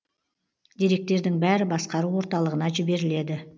деректердің бәрі басқару орталығына жіберіледі